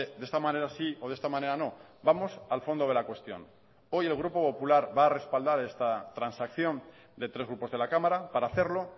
de esta manera sí o de esta manera no vamos al fondo de la cuestión hoy el grupo popular va a respaldar esta transacción de tres grupos de la cámara para hacerlo